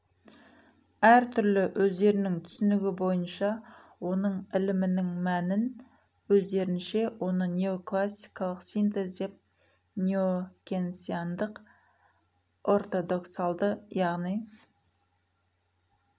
әр түрлі өздерінің түсінігі бойынша оның ілімінің мәнін өздерінше оны неоклассикалық синтез деп неокенсиандық ортодоксалды яғни